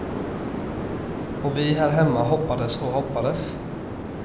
Och vi här hemma hoppades och hoppades.